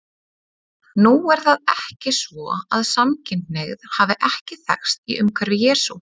Nú er það ekki svo að samkynhneigð hafi ekki þekkst í umhverfi Jesú.